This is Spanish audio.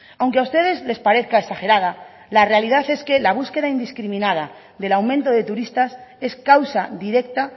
aunque a ustedes les parezca exagerada la realidad es que la búsqueda indiscriminada del aumento de turistas es causa directa